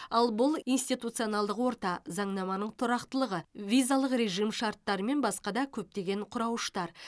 ал бұл институционалдық орта заңнаманың тұрақтылығы визалық режим шарттары мен басқа да көптеген құрауыштар